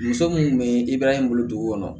Muso mun be yen i b'a ye i bolo dugu kɔnɔ